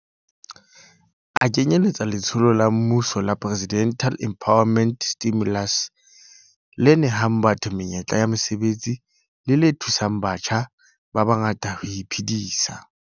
A kenyeletsa letsholo la mmuso la Presidential Employment Stimulus le nehang batho menyetla ya mosebetsi le le thusang batjha ba bangata ho iphedisa.